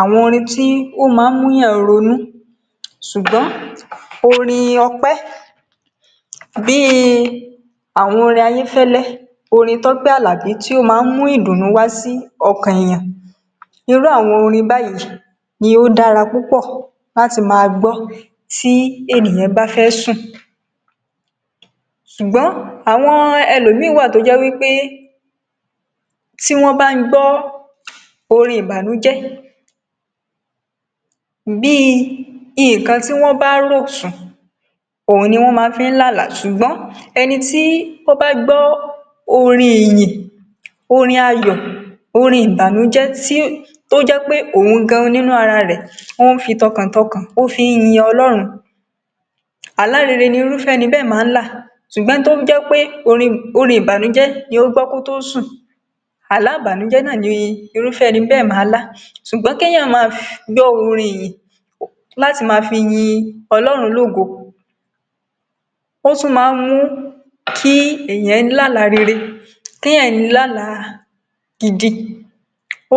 àwọn orin tí ó máa ń múyàn ronú, ṣug̀bọ́n orin ọpẹ, bí i àwọn orin Ayéfẹ́lẹ́, orin Tópẹ́ Àlàbí tí ó máa ń mú ìdùnú wá sí ọkàn èèyàn, irú àwọn orin báyìí ni ó dára púpọ̀ láti máa gbọ́ tí ènìyàn bá fẹ́ sùn. Ṣùgbọ́n àwọn ẹlòmíì wà tó jẹ́ wípé tí wọ́n bá ń gbọ́ orin ìbànújẹ́, bí i nǹkan tí wọ́n bá rò sùn, òhun ni wọ́n má fi ń lá àlá, ṣùgbọ́n ẹni tí ó gbọ orin ìyìn, orin ayọ̀, orin ìbànújẹ́, tí, tó jẹ́ pé òhun gan-an nínú ara rẹ̀ ó ń fi tọkàntọkàn, ó fi ń yin Ọlọ́run, àlá rere ni irúfẹ ẹni bẹ́ẹ̀ máa ń lá, ṣùgbọ́n ẹni tó jẹ́ pé orin, orin ìbànújẹ́ ni ó gbọ́ kó tó sùn, àlá ìbànújẹ́ náà ni irúfẹ ẹni bẹ́ẹ̀ máa lá. Ṣùgbọ́n kéèyàn máa [um]gbọ́ orin ìyìn láti má fi yin Ọlọ́run lógo, ó tún máa ń mú kí èèyàn lálàá rere, kéèyàn láàlá gidi,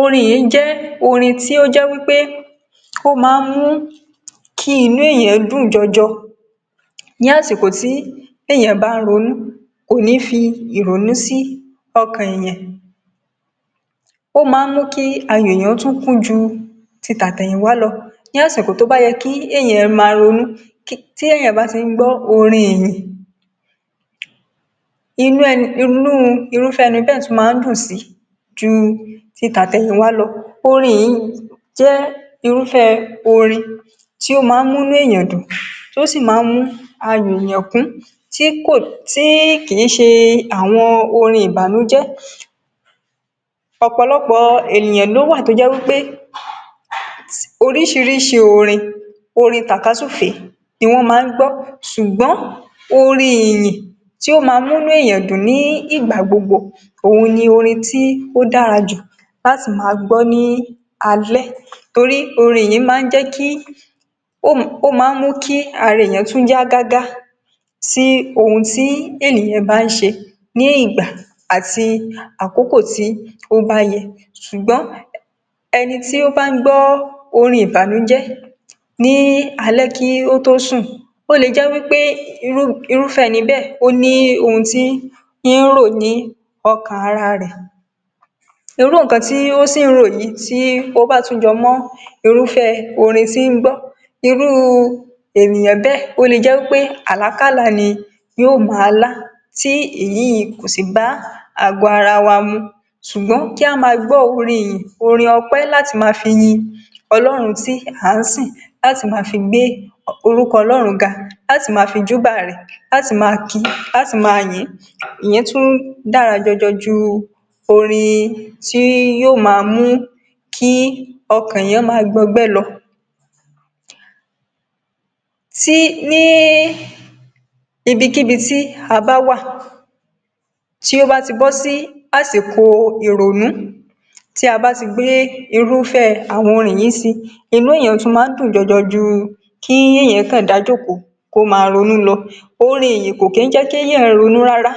orin ìyìn jẹ́ orin tí ó jẹ́ wípé ó máa ń mú kí inú èèyàn dùn jọjọ, ní àsìkò tí èeỳaǹ bá ń ronú. Kò ní fi ìrònú sí ọkàn èèyàn. Ó máa mú kí ayọ̀ èèyàn tún kún ju ti àtẹ̀yìnwá lọ, ní àsìkò tó bá yẹ kí èèyàn máa ronú, [um]tí èèyàn bá ti ń gbọ́ orin ìyìn, inú ẹni, inú irúfẹ́ ẹni bẹ́ẹ̀ tún máa ń dùn si ju ti tàtẹ̀yìnwá lọ. Orin ìyìn jẹ́ irúfẹ́ orin tó máa mú inú èeỳaǹ dùn, tó sì máa ń mú ayọ̀ èèyàn kún, tí kò, tí kì í ṣe àwoṇ orin ìbànújẹ́. Ọ̀pọ̀lọpọ̀ ènìyàn ló wà tó jẹ́ wípé [um]oríṣiríṣi orin, orin tàkasúfèé ni wọ́n máa ń gbọ́, ṣùgbọ́n orin ìyìn tí ó máa múnú èèyàn dùn ní ìgbà gbogbo, òhun ní orin tí ó dára jù láti máa gbọ́ ní alẹ́, torí orin ìyìn máa ń jẹ́ kí, ó máa, ó máa ń mú kí ara èèyàn tún yá gágá sí ohun tí ènìyàn bá ń ṣe ní ìgbà àti àkókò tí ó bá yẹ, ṣùgbọ́n um ẹni tó bá ń gbọ́ orin ìbànújẹ́ ní alẹ́ kí ó tó sùn, ó lè jẹ́ wípé um irúfẹ́ ẹni bẹ́ẹ̀ ó ní ohun tí ń rò ní ọkàn ara rẹ̀, irú nǹkan tí ó sì ń rò yìí, tó bá tún jọ mọ́ iŕufẹ́ orin tí ń gbọ́, irú ènìyàn bẹ́ẹ̀ ó lè jẹ́ wípé àlákálàá ni yóò máa lá, tí èyí yìí kò sì bá àgọ́ ara wa mu, ṣùgbọ́n kí a máa gbọ́ orin ìyìn, orin ọpẹ́ láti máa fi yin Ọlọ́run tí à ń sìn, láti máa fi gbé orúko ọlọ́run ga, láti máa fi júbà rẹ̀, láti máa kì í, láti máa yìn ín, ìyẹn tún dára jọjọ ju orin tí yóò máa mú kí ọkàn èèyàn máa gbọgbẹ́ lọ. tí, ní ibikíbi tí a bá wà, tí ó bá ti bọ́ sí àsìkò ìrònú, tí a bá ti gbé irúfẹ́ àwọn orin yìí si, inú èèyàn tún máa ń dùn jọjọ ju kí èèyàn kàn dá jòkòó, kó máa ronú lọ ,orin ìyìn kò kí í jẹ́ kí èèyàn ronú rara,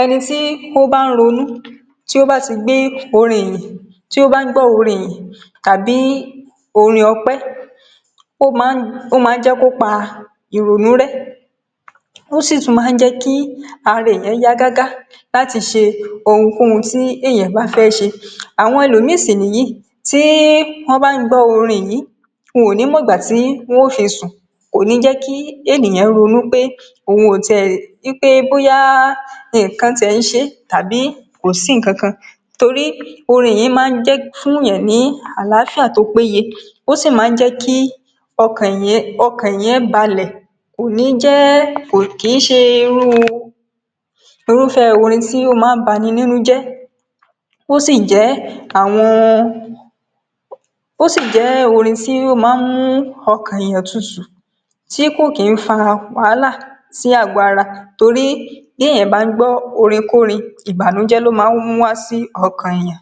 ẹni tí ó bá ń ronú, tí ó bá ti gbé orin ìyìn, tí ó bá ń gbọ́ orin ìyìn tàbí orin ọpẹ, ó máa ń, ó máa ń jẹ́ kó pa ìrònú rẹ́, ó sì tún máa ń jẹ́ ki ara èèyàn yá gágá láti ṣe ohun kóhun tí èèyàn bà fẹ̀ ṣe. Àwọn elòmíì sì nìyí, tí wọ́n bá ń gbọ́ orin yìí, wọ́n ò ní mọ̀gbà tí wọn ó fi sùn, kò ní jẹ́ kí ènìyàn ronú pé òun ò ti è, wípé bóyá nǹkan ti ẹ̀ ń ṣe é,tàbí kò sí nǹkan kàn, torí ìyìn máa ń um fúnyàn ní àlááfíà tó péye, ó sì máa ń jẹ́ kí ọkàn èèyàn, ọkàn èèyàn balẹ̀, kò ní jẹ́, kò kí í ṣe irú irúfẹ́ orin tí o ́máa ń bani nínú jẹ́, ó sì jẹ́ àwọn, ó sì jẹ́ orin tí ó máa ń mú ọkàn èèyàn tutù, tí kò kí ń fa wàhálà sí àgọ́ ara torí bí èèyàn bá ń gbọ́ orin kórin, ìbànújẹ́ ló máa ń mú wá sí ọkàn èèyàn.